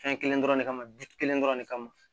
Fɛn kelen dɔrɔn de kama du kelen dɔrɔn de kama